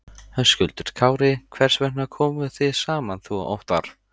Höskuldur Kári: Hvers vegna komuð þið saman þú og Óttarr?